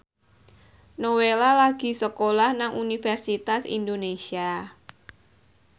Nowela lagi sekolah nang Universitas Indonesia